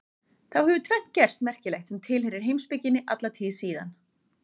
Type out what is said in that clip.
Þá hefur tvennt gerst merkilegt sem tilheyrir heimspekinni alla tíð síðan.